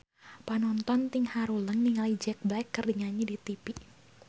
Panonton ting haruleng ningali Jack Black keur nyanyi di tipi